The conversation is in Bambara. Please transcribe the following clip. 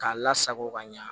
K'a lasago ka ɲa